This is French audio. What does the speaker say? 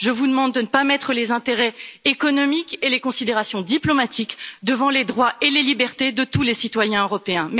Je vous demande de ne pas mettre les intérêts économiques et les considérations diplomatiques devant les droits et les libertés de tous les citoyens européens.